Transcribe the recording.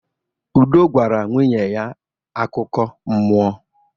Udo gwara nwunye ya akụkọ mmụọ.